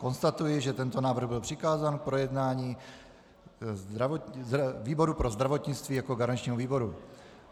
Konstatuji, že tento návrh byl přikázán k projednání výboru pro zdravotnictví jako garančnímu výboru.